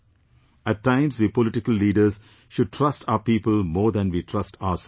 At times we political leaders should trust our people more than we trust ourselves